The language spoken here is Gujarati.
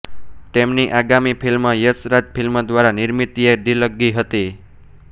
તેમની આગામી ફિલ્મ યશ રાજ ફિલ્મ દ્વારા નિર્મિત યે દિલ્લગી હતી